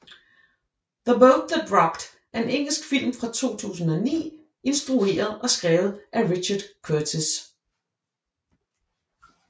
The Boat That Rocked er en engelsk film fra 2009 instrueret og skrevet af Richard Curtis